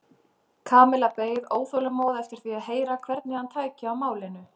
Kamilla beið óþolinmóð eftir því að heyra hvernig hann tæki á málinu.